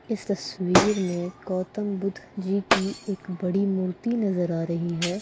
इस तस्वीर मे गौतम बुद्ध जी की एक बड़ी मूर्ति नजर आ रही है।